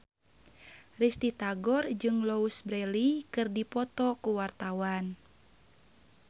Risty Tagor jeung Louise Brealey keur dipoto ku wartawan